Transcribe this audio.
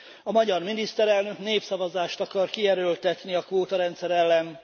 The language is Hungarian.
A magyar miniszterelnök népszavazást akar kierőltetni a kvótarendszer ellen.